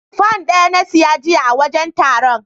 Fan ɗaya na siya jiya a wajen taron.